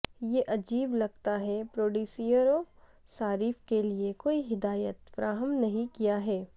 یہ عجیب لگتا ہے پروڈیوسروں صارف کیلئے کوئی ہدایات فراہم نہیں کیا ہے